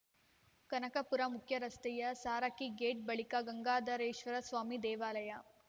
ಕನಕಪುರ ಮುಖ್ಯರಸ್ತೆಯ ಸಾರಕ್ಕಿ ಗೇಟ್ ಬಳಿಕ ಗಂಗಾಧರೇಶ್ವರ ಸ್ವಾಮಿ ದೇವಾಲಯ